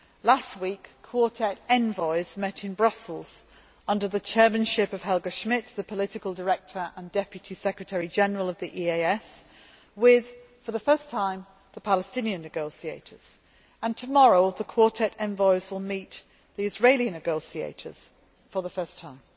Last week, Quartet envoys met in Brussels, under the chairmanship of Helga Schmid, the Political Director and Deputy Secretary General of the EAS, with, for the first time, the Palestinian negotiators. Tomorrow, the Quartet envoys will meet the Israeli negotiators for the first time.